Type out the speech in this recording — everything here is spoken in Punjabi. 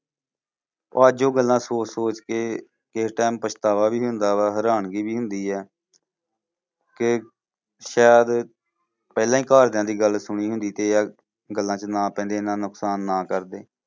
ਅੱਜ ਉਹ ਗੱਲਾਂ ਸੋਚ ਸੋਚ ਕੇ ਕਿਸੇ time ਪਛਤਾਵਾ ਵੀ ਹੁੰਦਾ ਵਾ ਹੈਰਾਨਗੀ ਵੀ ਹੁੰਦੀਆਂ ਕਿ ਸ਼ਾਇਦ ਪਹਿਲਾਂ ਹੀ ਘਰਦਿਆਂ ਦੀ ਗੱਲ ਸੁਣੀ ਹੁੰਦੀ ਤੇ ਯਾਰ ਗੱਲਾਂ ਚ ਨਾ ਪੈਂਦੇ ਏਨਾ ਨੁਕਸਾਨ ਨਾ ਕਰਦੇ।